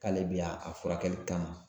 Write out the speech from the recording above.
K'ale bɛ yan a furakɛli kama